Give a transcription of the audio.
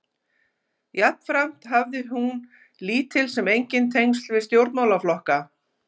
Jafnframt hafði hafði hún lítil sem engin tengsl við stjórnmálaflokka.